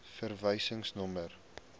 verwysingsnommer